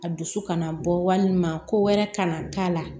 A dusu kana bɔ walima ko wɛrɛ kana k'a la